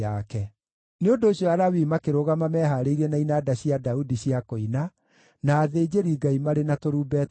Nĩ ũndũ ũcio Alawii makĩrũgama mehaarĩirie na inanda cia Daudi cia kũina, na athĩnjĩri-Ngai marĩ na tũrumbeta twao.